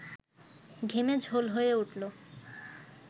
ঘেমে ঝোল হয়ে উঠল